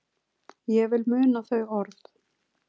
Ég vil muna þau orð.